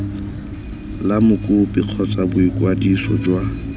la mokopi kgotsa boikwadiso jwa